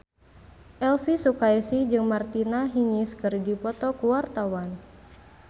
Elvi Sukaesih jeung Martina Hingis keur dipoto ku wartawan